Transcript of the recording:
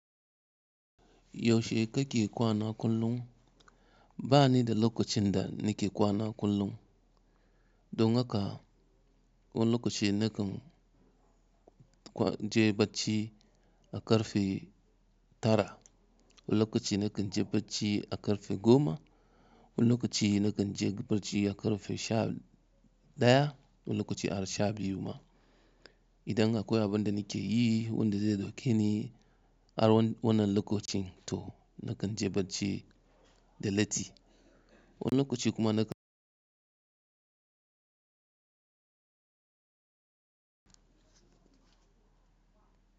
Yaushe kake kwana kullum? Ba ni da lokacin da nake kwana kullum. Don haka, wani lokaci nakan je barci a karfe tara, wani lokaci nakan je barci a karfe goma, wani lokaci nakan je barci a karfe sha ɗaya, wani lokaci har sha biyu ma. Idan akwai abin da nake yi wanda zai dauke ni har wannan lokacin to nakan je barci da latti. Wani lokaci kuma nakan.